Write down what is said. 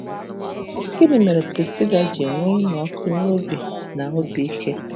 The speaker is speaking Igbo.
Gịnị mere Prisila ji nwee ịnụ ọkụ n’obi na obi ike?